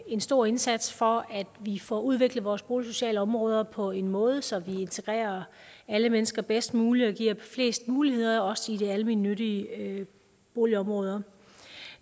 en stor indsats for at vi får udviklet vores boligsociale områder på en måde så vi integrerer alle mennesker bedst muligt og giver flest muligheder også i de almennyttige boligområder